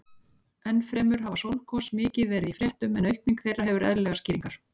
Enn fremur hafa sólgos mikið verið í fréttum en aukning þeirra hefur eðlilegar skýringar.